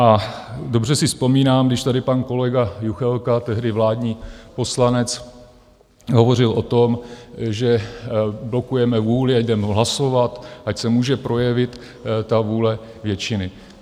A dobře si vzpomínám, když tady pan kolega Juchelka, tehdy vládní poslanec, hovořil o tom, že blokujeme vůli, ať jdeme hlasovat, ať se může projevit ta vůle většiny.